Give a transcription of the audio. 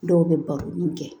Dɔw bɛ baro min kɛ